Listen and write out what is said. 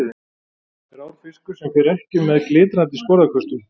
Grár fiskur sem fer ekki um með glitrandi sporðaköstum.